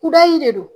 Kudayi de don